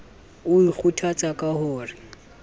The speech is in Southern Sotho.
o ikgothatsa ka ho re